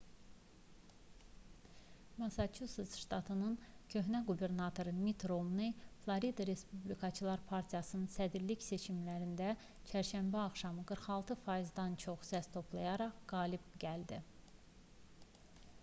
massaçusets ştatının köhnə qubernatoru mitt romney floridanın respublikaçılar partiyasının sədrlik seçimlərində çərşənbə axşamı 46%-dən çox səs toplayaraq qalib gəldi